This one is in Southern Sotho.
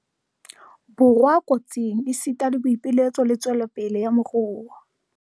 Borwa kotsing, esita le botsitso le tswelopele ya moruo.